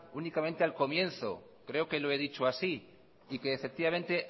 únicamente al comienzo creo que lo he dicho así y que efectivamente